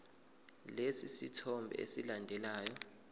lesi sithombe esilandelayo